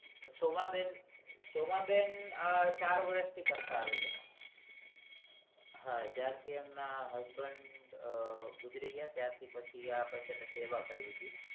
સોમાંબેન સોમાંબેન ચાર વર્ષથી કરતા આવે છે હા જયારથી એમના husband ગુજરી ગયા ત્યારથી પછી એમનેસેવા કરવી હતી